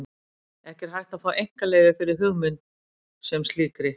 Ekki er hægt að fá einkaleyfi fyrir hugmynd sem slíkri.